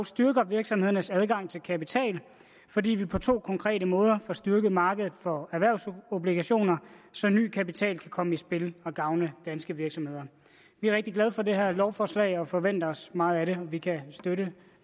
styrker virksomhedernes adgang til kapital fordi vi på to konkrete måder få styrket markedet for erhvervsobligationer så ny kapital kan komme i spil og gavne danske virksomheder vi er rigtig glade for det her lovforslag og forventer os meget af det vi kan støtte